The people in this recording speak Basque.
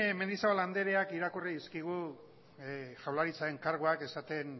mendizabal andreak irakurri dizkigu jaurlaritzaren karguan esaten